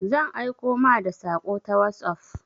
Zan aiko ma da saƙo ta wosof.